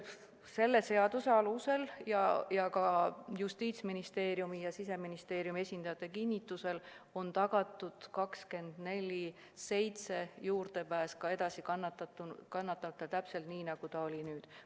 Selle seaduseelnõu kohaselt ja ka Justiitsministeeriumi ja Siseministeeriumi esindajate kinnitusel on kannatanutele tagatud 24/7 juurdepääs ka edaspidi – täpselt nii, nagu on nüüd.